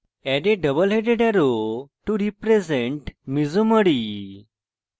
add a double headed arrow to represent mesomery